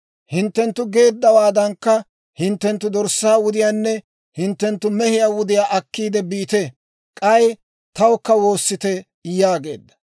Hinttenttu geeddawaadankka hinttenttu dorssaa wudiyaanne hinttenttu mehiyaa wudiyaa akkiide biite! K'ay tawukka woosite» yaageedda.